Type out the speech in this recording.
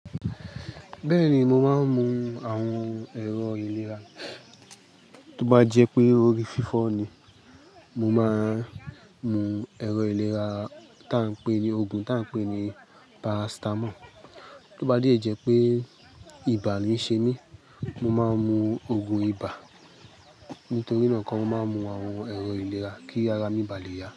Bẹ́ẹ̀ni, mo máa ń mu àwọn ẹ̀rọ ìlera. Tó bá jẹ́ pé orí fífọ́ ni, mo máa ń mu ẹ̀rọ ìlera ta ń pè ní oògùn, ta ń pè ní paracetamol. Tóba dẹ́ jẹ́ pé ibà ni ń ṣe mí, mo máa ń mu oògùn ibà. Nítorí náà, mo máa ń mu àwon erò ilera kí ara mi bá lè yá.